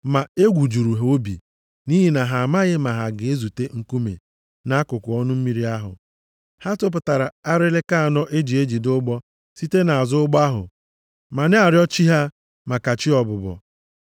Ma egwu juru ha obi nʼihi na ha amaghị ma ha ga-ezute nkume nʼakụkụ ọnụ mmiri ahụ. Ha tụpụtara arịlịka anọ e ji ejide ụgbọ site nʼazụ ụgbọ ahụ ma na-arịọ chi ha maka chi ọbụbọ.